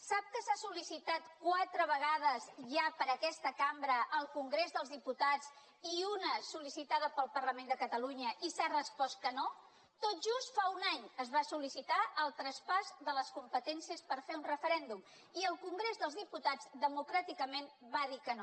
sap que s’ha sol·licitat quatre vegades ja per aquesta cambra al congrés dels diputats i una sol·licitada pel parlament de catalunya i s’ha respost que no tot just fa un any es va sollicitar el traspàs de les competències per fer un referèndum i el congrés dels diputats democràticament va dir que no